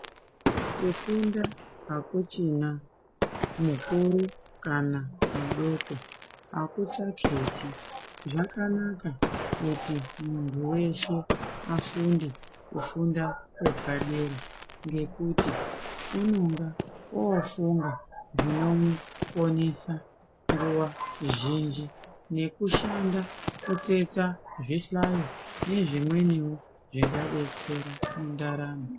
Kufunda hakuchina mukuru kana mudoko hakuchaketi. Zvakanaka kuti muntu weshe afunde kufunda kwepadera ngekuti unonga oofunga zvinomuponesa nguva zhinji nekushanda kutsetsa zvihlayo nezvimweniwo zvingadetsera mundaramo.